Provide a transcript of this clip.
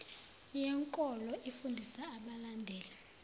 yenkolo ifundisa abalandeli